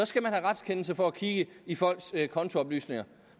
skal man have retskendelse for at kigge i folks kontooplysninger